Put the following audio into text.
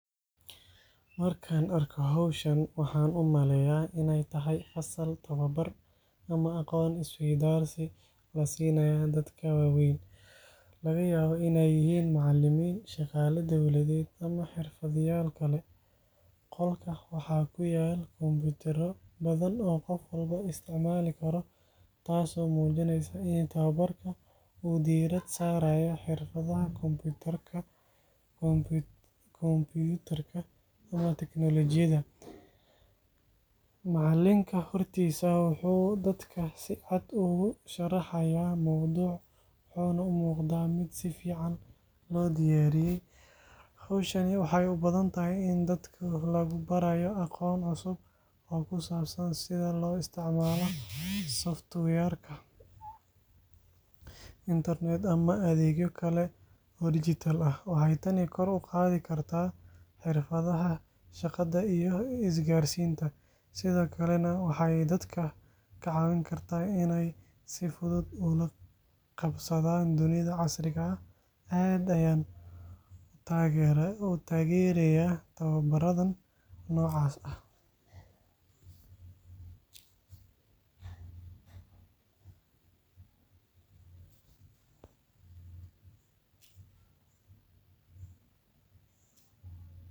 Markaan arko hawshan, waxaan u maleynayaa inay tahay fasal tababar ama aqoon isweydaarsi la siinayo dadka waaweyn, laga yaabo inay yihiin macalimiin, shaqaale dowladeed, ama xirfadlayaal kale. Qolka waxaa ku yaal kombiyuutarro badan oo qof walba isticmaali karo, taas oo muujinaysa in tababarka uu diiradda saarayo xirfadaha kombiyuutarka ama teknolojiyada. Macallinka hortiisa wuxuu dadka si cad ugu sharaxayaa mowduuc, wuxuuna u muuqdaa mid si fiican loo diyaariyay. Hawshani waxay u badan tahay in dadka lagu barayo aqoon cusub oo ku saabsan sida loo isticmaalo software, internet, ama adeegyo kale oo digital ah. Waxay tani kor u qaadi kartaa xirfadaha shaqada iyo isgaarsiinta, sidoo kalena waxay dadka ka caawin kartaa inay si fudud ula qabsadaan dunida casriga ah. Aad ayaan u taageerayaa tababaradan noocaas ah.